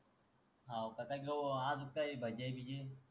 हव का कता काऊ आज काय भाजी आहे बिजी